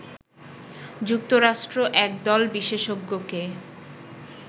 যুক্তরাষ্ট্র একদল বিশেষজ্ঞকে